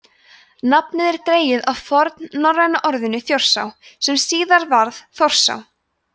nafnið er dregið af fornnorræna orðinu „þjórsá“ sem síðar varð „þórsá“